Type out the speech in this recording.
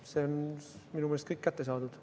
See on minu meelest kõik kättesaadav.